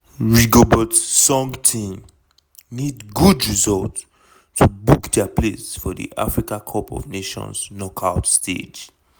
rigobert song team need good result to book dia place for di africa cup of nations knockout stage.